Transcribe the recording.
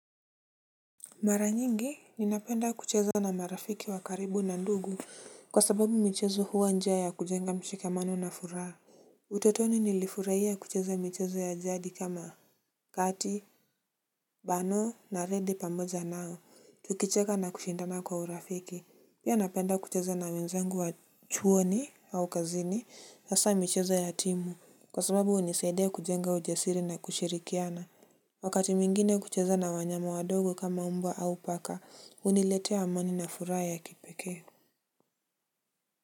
Mara nyingi, ninapenda kucheza na marafiki wa karibu na ndugu, kwa sababu michezo huwa njia ya kujenga mshikamano na furaha. Utotoni nilifurahia kucheza michezo ya jadi kama kati, bano na redi pamoja nao, tukicheka na kushindana kwa urafiki. Pia napenda kucheza na wenzengu wa chuoni au kazini, sasa michezo ya timu, kwa sababu hunisaidia kujenga ujasiri na kushirikiana. Wakati mwingine kucheza na wanyama wadogo kama mbwa au paka, huniletea amani na furaha kipekee.